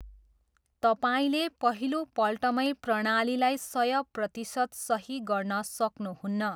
तपाईँले पहिलोपल्टमै प्रणालीलाई सय प्रतिशत सही गर्न सक्नुहुन्न।